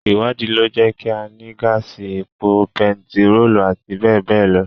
Ìwádìí lọ jẹ́ kí á ní gáàsì, epo bentiróòlù, àti bẹ́ẹ̀ bẹ́ẹ̀ lọ.